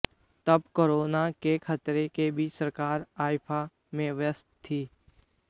तब कोरोना के खतरे के बीच सरकार आइफा में व्यस्त थी